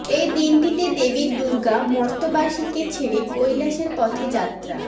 এই দিনটিতে দেবী দুর্গা মর্ত্যবাসীকে ছেড়ে কৈলাসের পথে যাত্রা